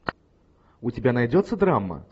у тебя найдется драма